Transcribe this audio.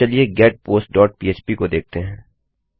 अब चलिए getpost dot php को देखते हैं